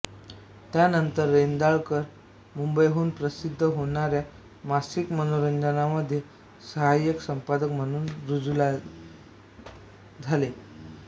त्यानंतर रेंदाळकर मुंबईहून प्रसिद्ध होणाऱ्या मासिक मनोरंजनमध्ये साहाय्यक संपादक म्हणूम रुजू झाले